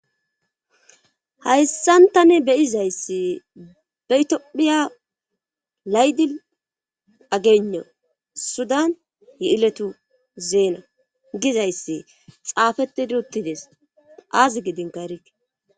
Hayssantani beyizayssi betophiya laydi ageno sudan yi'iletu zeena gizayssi xaafettidi uttides aazi gidin karite.